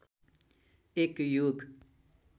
एक युग